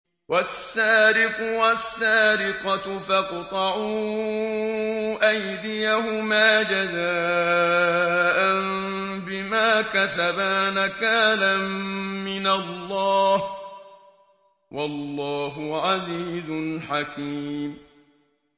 وَالسَّارِقُ وَالسَّارِقَةُ فَاقْطَعُوا أَيْدِيَهُمَا جَزَاءً بِمَا كَسَبَا نَكَالًا مِّنَ اللَّهِ ۗ وَاللَّهُ عَزِيزٌ حَكِيمٌ